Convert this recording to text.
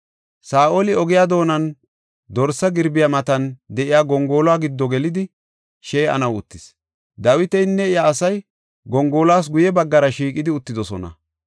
Saa7oli ogiya doonan dorsa girbiya matan de7iya gongoluwa giddo gelidi shee7anaw uttis. Dawitinne iya asay gongoluwas guye baggara shiiqidi uttidosona.